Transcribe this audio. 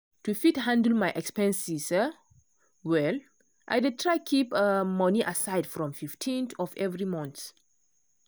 to fit handle my expenses um well i dey try keep um money aside before 15th of every month.